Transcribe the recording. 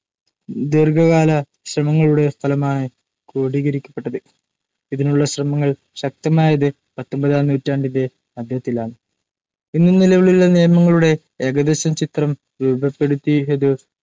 ദീർഘകാല ശ്രമങ്ങളുടെ ഫലമായാണ്‌ ക്രോഡീകരിക്കപ്പെട്ടത്‌. ഇതിനുളള ശ്രമങ്ങൾ ശക്തമായത്‌ പത്തൊമ്പതാം നൂറ്റാണ്ടിന്റെ മധ്യത്തിലാണ്‌ ഇന്നു നിലവിലുളള നിയമങ്ങളുടെ ഏകദേശ ചിത്രം രൂപപ്പെടുത്തിയതു